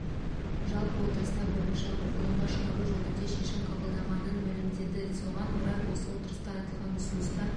жалпы отырысына бірінші оқылымға шығару жөнінде шешім қабылданғанын мәлімдеді соған орай осы отырыста айтылған ұсыныстар